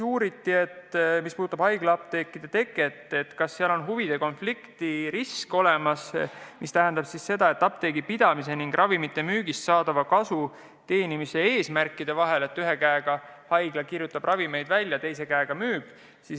Uuriti, kas haiglaapteekide tekke korral on olemas huvide konflikti risk, mis puudutab apteegipidamist ning ravimite müügist saadava kasu teenimise eesmärki: ühe käega haigla kirjutab ravimeid välja ja teise käega müüb.